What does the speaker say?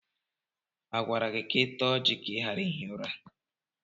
A gwara gị ka ị taa ọjị ka ị ghara ihi ụra?